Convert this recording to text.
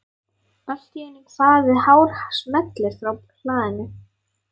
Allt í einu kvað við hár smellur frá hlaðinu.